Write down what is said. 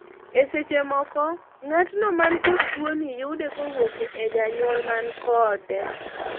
e seche moko, ng'atno man kof tuoni yude kowuok e janyuol man kode